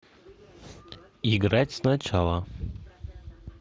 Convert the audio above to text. играть сначала